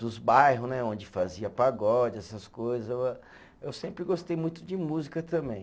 Dos bairro né onde fazia pagode, essas coisa o a, eu sempre gostei muito de música também.